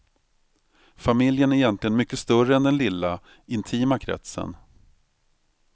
Familjen är egentligen mycket större än den lilla, intima kretsen.